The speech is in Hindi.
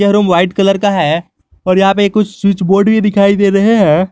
यह रूम व्हाइट कलर का है और यहां पर कुछ स्विच बोर्ड भी दिखाई दे रहे हैं।